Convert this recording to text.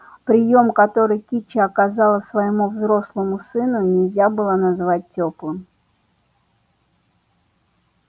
приём который кичи оказала своему взрослому сыну нельзя было назвать тёплым